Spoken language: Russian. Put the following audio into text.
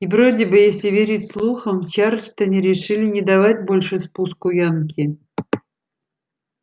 и вроде бы если верить слухам в чарльстоне решили не давать больше спуску янки